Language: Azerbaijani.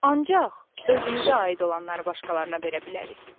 Ancaq özümüzə aid olanları başqalarına verə bilərik.